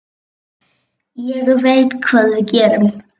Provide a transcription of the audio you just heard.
Ég veit hvað við gerum!